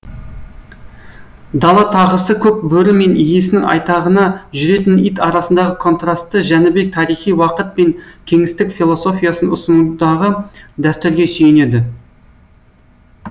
дала тағысы көк бөрі мен иесінің айтағына жүретін ит арасындағы контрасты жәнібек тарихи уақыт пен кеңістік философиясын ұсынудағы дәстүрге сүйенеді